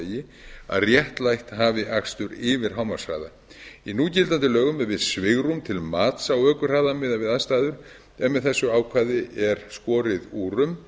vegi að réttlætt hafi akstur yfir hámarkshraða í núgildandi lögum yrði svigrúm til mats á ökuhraða miðað við aðstæður en með þessu ákvæði er skorið úr um